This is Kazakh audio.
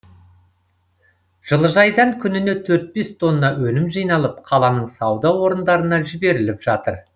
жылыжайдан күніне төрт бес тонна өнім жиналып қаланың сауда орындарына жіберіліп жатыр